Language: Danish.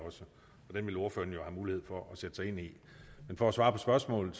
den vil ordføreren jo have mulighed for at sætte sig ind i men for at svare på spørgsmålet